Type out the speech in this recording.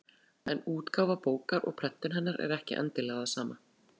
En útgáfa bókar og prentun hennar er ekki endilega það sama.